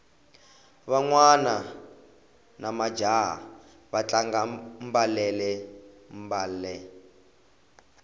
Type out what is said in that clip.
vanhwana namajaha va tlanga mbalele mbale